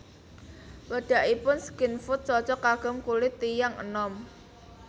Wedakipun Skin Food cocok kagem kulit tiyang enom